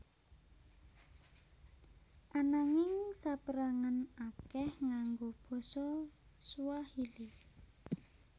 Ananging saperangan akeh nganggo basa Swahili